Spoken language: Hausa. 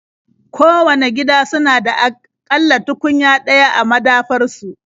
Kowanne gida suna da a ƙalla tukunya ɗaya a madafar su.